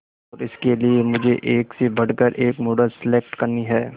और इसके लिए मुझे एक से बढ़कर एक मॉडल सेलेक्ट करनी है